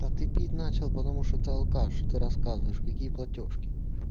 а ты пить начал потому что ты алкаш что ты рассказываешь какие платёжки